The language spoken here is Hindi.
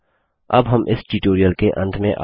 अब हम इस ट्यूटोरियल के अंत में आ चुके हैं